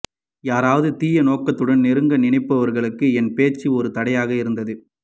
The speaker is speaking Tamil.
யாராவது தீய நோக்கத்துடன் நெருங்க நினைப்பவர்களுக்கு என் பேச்சு ஓர் தடையாக இருந்தது